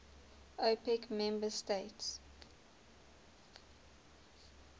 opec member states